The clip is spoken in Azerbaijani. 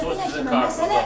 O sizin kartınızdadır?